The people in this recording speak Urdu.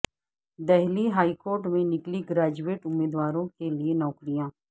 دہلی ہائی کورٹ میں نکلی گریجویٹ امیدواروں کے لئے نوکریاں